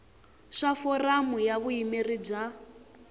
swa foramu ya vuyimeri bya